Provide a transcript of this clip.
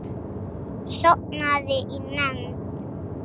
Sofnaði í nefnd.